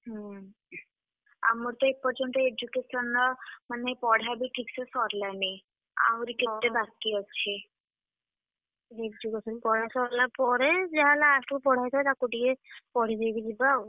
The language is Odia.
ହୁଁ, ଆମର ତ ଏପର୍ଯ୍ୟନ୍ତ education ର ମାନେ ପଢା ବି ଠିକ୍ ସେ ସରିଲାନି। ଆହୁରି କେତେ ବାକି ଅଛି। education ପଢା ସରିଲା ପରେ ଯାହା last କୁ ପଢା ହେଇଥିଲା ତାକୁ ଟିକେ, ପଢିଦେଇକି ଯିବା ଆଉ।